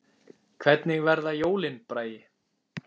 Hvernig verða jólin, Bragi?